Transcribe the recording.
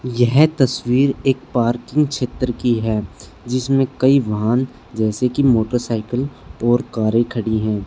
यह तस्वीर एक पार्किंग क्षेत्र की है जिसमें कई वाहन जैसे की मोटरसाइकिल और कारे खड़ी हैं।